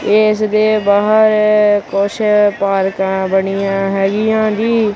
ਇਸ ਦੇ ਬਾਹਰ ਕੁਛ ਪਾਰਕਾਂ ਬਣੀਆਂ ਹੈਗੀਆਂ ਜੀ।